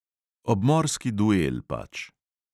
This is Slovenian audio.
Obmorski duel pač.